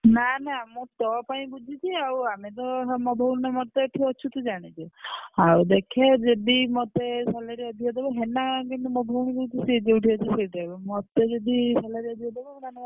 ନା ନା ମୁଁ ତୋ ପାଇଁ ବୁଝିଛି ଆଉ ଆମେ ତ ଏଠି ଅଛୁ ତୁ ଜାଣିଛୁ ଆଉ ଦେଖେ ଯଦି ମତେ salary ଅଧିକା ଦେବେ ହେଲା କିନ୍ତୁ ମୋ ବୋଉ କହୁଛି ସେ ଯୋଉଠି ଅଛି ସେଇଠି ରହିବ ମତେ ଯଦି salary ଅଧିକ ଦବ ତାହେଲେ ମୁଁ ପଳେଇବି ସେ company କି ଆଉ।